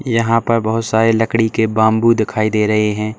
यहां पर बहुत सारे लकड़ी के बंबू दिखाई दे रहे हैं।